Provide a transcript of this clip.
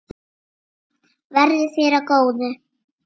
Verði þér að góðu.